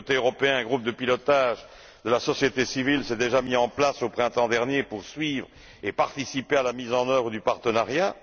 Du côté européen, un groupe de pilotage de la société civile s'est déjà mis en place au printemps dernier pour suivre et participer à la mise en œuvre du partenariat.